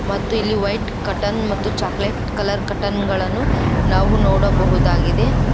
ಮತ್ತು ಇಲ್ಲಿ white cotton ಮತ್ತು ಚಾಕಲೇಟ್ ಕಲರ್ ಕಟ್ಟನ್ ಗಳನ್ನು ನಾವು ನೋಡಬಹುದಾಗಿದೆ.